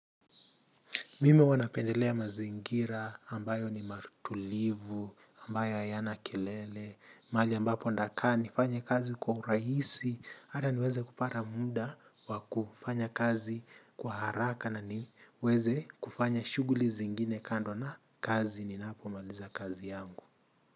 Mim huwa napendelea mazingira, ambayo ni matulivu, ambayo ayana kelele, mali ambapo ndakaa nifanye kazi kwa urahisi, ata niweze kupata mda wa kufanya kazi kwa haraka na niweze kufanya shughli zingine kando na kazi, ninapomaliza kazi yangu.